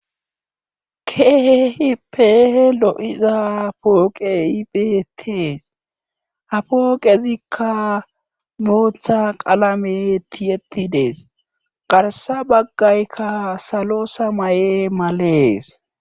Keehippe lo7iza pooqey beettees ha pooqezikka bootha qalame tiyetti dees garssa baggayka salo samaye malees.